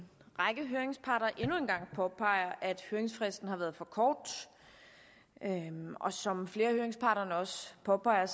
række høringsparter endnu en gang påpeger at høringsfristen har været for kort og som flere af høringsparterne også påpeger